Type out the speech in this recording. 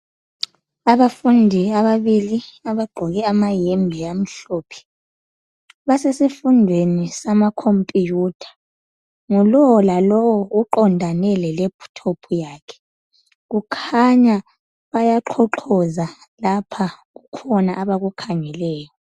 abafundi ababili abagqoke amayembe amhlophe basesifundweni sama computer ngulowo lalowo uqondane le laptop yakhe kukhanya bayaxhoxhoza lapha kukhona abakukhangeleyo